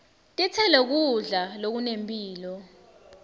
titselo kudla lokunemphilo